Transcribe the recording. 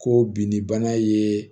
Ko binni bana ye